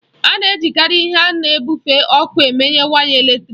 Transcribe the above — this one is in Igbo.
A na-ejikarị ihe na-ebufe ọkụ eme waya eletrịk